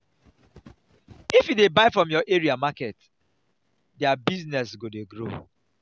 if you dey buy from your area market their business go dey grow.